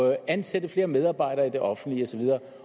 og ansætte flere medarbejdere i det offentlige og så videre